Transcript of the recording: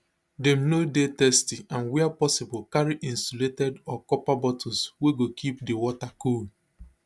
dem no dey thirsty and wia possible carry insulated or copper bottles wey go keep di water cool